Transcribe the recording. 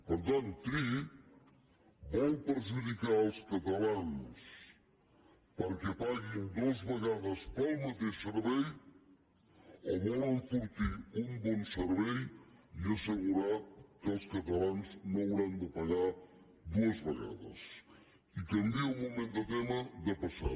per tant triï vol perjudicar els catalans perquè paguin dues vegades pel mateix servei o vol enfortir un bon servei i assegurar que els catalans no hauran de pagar dues vegades i canvio un moment de tema de passada